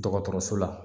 Dɔgɔtɔrɔso la